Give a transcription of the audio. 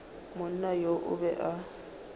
monna yoo o be a